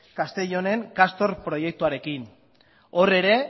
castellonen castor proiektuarekin hor ere